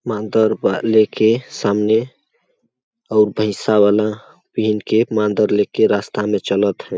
मांदर वा ले के सामने और भैसा वाला पहन के मांदर ले के सामने रस्ता में चलत हे।